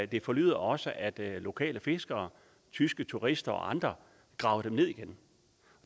det forlyder også at lokale fiskere tyske turister og andre graver dem ned igen